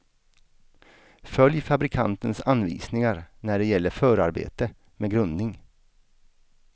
Följ fabrikantens anvisningar när det gäller förarbete med grundning.